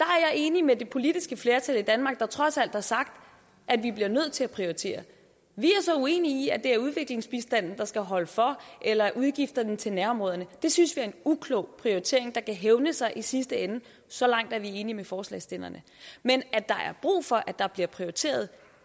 er enig med det politiske flertal i danmark der trods alt har sagt at vi bliver nødt til at prioritere vi er så uenige i at det er udviklingsbistanden der skal holde for eller udgifterne til nærområderne det synes vi er en uklog prioritering der kan hævne sig i sidste ende så langt er vi enige med forslagsstillerne men at der er brug for at der bliver prioriteret